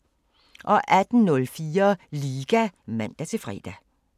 18:04: Liga (man-fre)